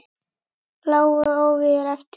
Lágu óvígir eftir.